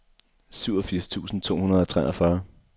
syvogfirs tusind to hundrede og treogfyrre